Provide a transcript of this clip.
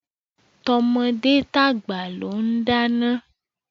Tọmọdé tàgbà ló ń dáná.